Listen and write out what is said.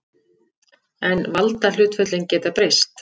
En valdahlutföllin geta breyst.